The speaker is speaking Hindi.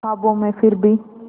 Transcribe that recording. ख्वाबों में फिर भी